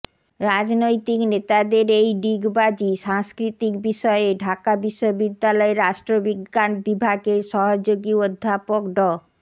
রাজনৈতিক নেতাদের এই ডিগবাজি সংস্কৃতির বিষয়ে ঢাকা বিশ্ববিদ্যালয়ের রাষ্ট্রবিজ্ঞান বিভাগের সহযোগী অধ্যাপক ড